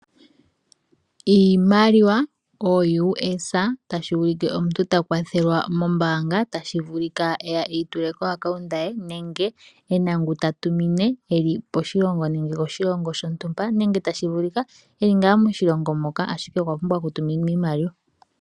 Iimiliwa ooUS$ tashi ulike omuntu ta kwathelwa mombaanga tashi vulika eya e yitule komayalulo ge gombaanga nenge e na ngu ta tumine e li koshilongo shontumba nenge tashi vulika e li ngaa moshilongo moka ashike okwa pumbwa okutuminwa iimaliwa.